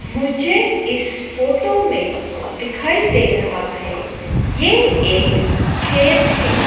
मुझे इस फोटो में दिखाई दे रहा है। यह एक खेत है।